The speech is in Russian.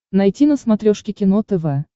найти на смотрешке кино тв